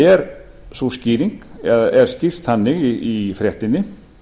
er sú skýring eða er skýrt þannig í fréttinni